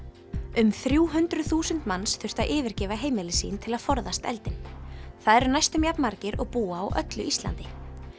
um þrjú hundruð þúsund manns þurftu að yfirgefa heimili sín til að forðast eldinn það eru næstum jafn margir og búa á öllu Íslandi